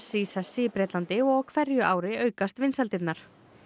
í sessi í Bretlandi og á hverju ári aukast vinsældirnar